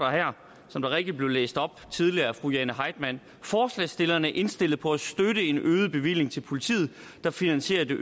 som det rigtigt blev læst op tidligere af fru jane heitmann forslagsstillerne er indstillet på at støtte en øget bevillig til politiet der finansierer det